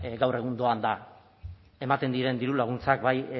gaur egun doan da ematen diren diru laguntzak bai